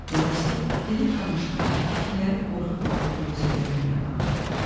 Milovski, dinib danışmayan, fikirləri qorxa-qorxa bürüzə verən bir adam idi.